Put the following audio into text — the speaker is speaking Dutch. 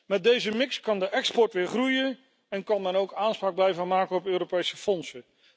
Met deze mix kan de export weer groeien en kan het land ook aanspraak blijven maken op Europese fondsen.